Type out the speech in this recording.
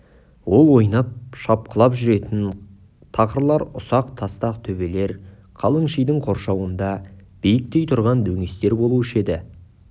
ол ойнап шапқылап жүретін тақырлар ұсақ тастақ төбелер қалың шидің қоршауында биіктей тұрған дөңестер болушы еді